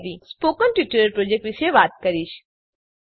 હું હવે spoken tutorial project વિશે વાત કરીશ